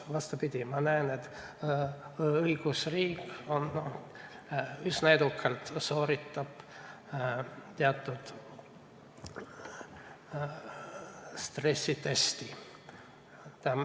Vastupidi, ma näen, et õigusriik sooritab üsna edukalt teatud stressitesti.